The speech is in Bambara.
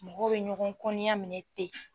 Mɔgɔw bɛ ɲɔgɔn kɔniya minɛ ten.